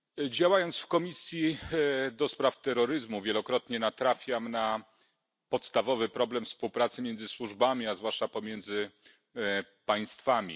Działając w Komisji ds. terroryzmu, wielokrotnie natrafiam na podstawowy problem współpracy między służbami, a zwłaszcza pomiędzy państwami.